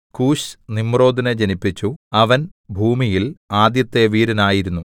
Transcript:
കൂശ് നിമ്രോദിനെ ജനിപ്പിച്ചു അവൻ ഭൂമിയിൽ ആദ്യത്തെ വീരനായിരുന്നു